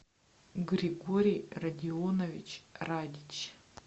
григорий родионович радич